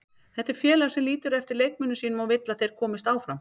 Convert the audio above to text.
Þetta er félag sem lítur eftir leikmönnum sínum og vill að þeir komist áfram.